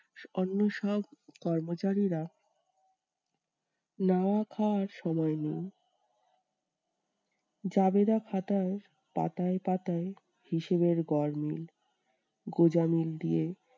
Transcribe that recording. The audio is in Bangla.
অন্য সব কর্মচারীরা নাওয়া খাওয়ার সময় নাই। জাবেদা খাতার পাতায় পাতায় হিসেবের গরমিল গোঁজামিল দিয়ে